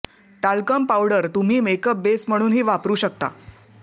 talcum powder तुम्ही makeup base म्हणूनही वापरू शकता